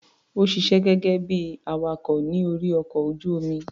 Ó ṣiṣé gẹ́gẹ́ bí i awakọ̀ ní orí ọkọ̀ ojú-omi.